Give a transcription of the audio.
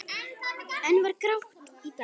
Enn var grátt í dalnum.